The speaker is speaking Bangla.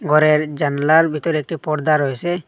ঘরের জানলার ভিতরে একটি পর্দা রয়েছে।